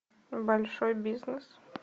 большой бизнес